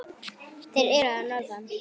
Þeir eru að norðan.